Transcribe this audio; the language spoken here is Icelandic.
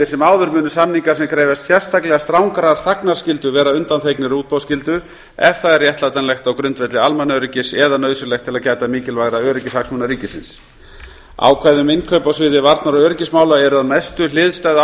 sem áður munu samningar sem krefjast sérstaklega strangrar þagnarskyldu vera undanþegnir útboðsskyldu ef það er réttlætanlegt á grundvelli almannaöryggis eða nauðsynlegt til að gæta mikilvægra öryggishagsmuna ríkisins ákvæði um innkaup á sviði varnar og öryggismála eru að mestu hliðstæð